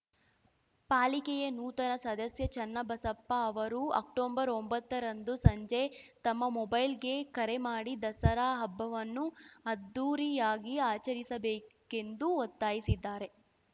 ಪಾಲಿಕೆಯ ನೂತನ ಸದಸ್ಯ ಚನ್ನಬಸಪ್ಪ ಅವರು ಅಕ್ಟೊಬರ್ ಒಂಬತ್ತ ರಂದು ಸಂಜೆ ತಮ್ಮ ಮೊಬೈಲ್‌ಗೆ ಕರೆ ಮಾಡಿ ದಸರಾ ಹಬ್ಬವನ್ನು ಅದ್ಧೂರಿಯಾಗಿ ಆಚರಿಸಬೇಕೆಂದು ಒತ್ತಾಯಿಸಿದ್ದಾರೆ